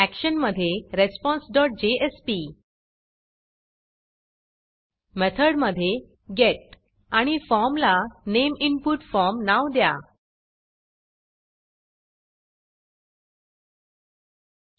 action action मधे responseजेएसपी method method मधे गेट आणि फॉर्मला नामे इनपुट formनेम इनपुट फॉर्म नाव द्या